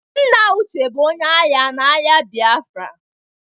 Nna Uche bụ onye agha na agha Biafra.